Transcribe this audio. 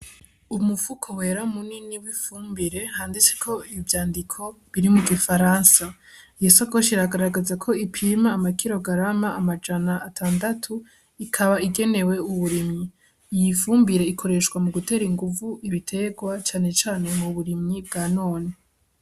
Umupfuko wera mu nini w'ifumbire handitseko ibi ivyandiko biri mu gifaransa iyesokosh iragaragaza ko ipima amakiro garama amajana atandatu ikaba igenewe uburimyi iy ifumbire ikoreshwa mu gutera inguvu ibiterwa canecane mu burimyi bwa none.